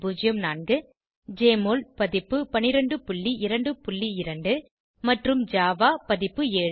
1204 Jmol பதிப்பு 1222 மற்றும் Java பதிப்பு 7